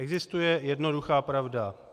Existuje jednoduchá pravda.